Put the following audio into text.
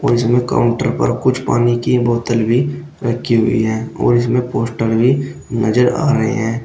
इसमें काउंटर पर कुछ पानी की बोतल भी रखी हुई है और इसमें पोस्टर भी नजर आ रहे हैं।